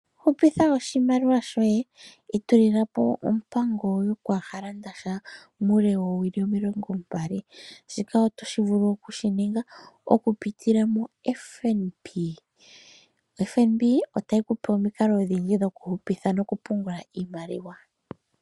Hupitha oshimaliwa shoye, itulula po ompango yokwaa ha landasha muule woowili omilongombali. Shika oto vulu oku shi ninga oku pitila moFNB. FNB otayi ku pe omikalo odhindji dhokuhupitha nokupungula iimaliwa.